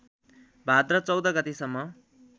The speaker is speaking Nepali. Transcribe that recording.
भाद्र १४ गतेसम्म